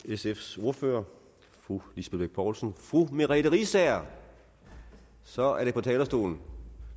sfs ordfører fru lisbeth bech poulsen fru merete riisager så er det på talerstolen